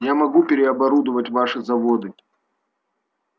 я могу переоборудовать ваши заводы